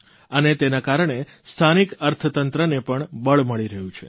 અને તેના કારણે સ્થાનિક અર્થતંત્રને પણ બળ મળી રહ્યું છે